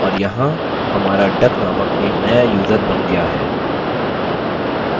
और यहाँ हमारा duck named एक नया यूज़र बन गया है